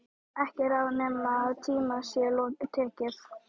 Ekki ráð nema í tíma sé tekið.